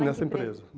Nessa empresa.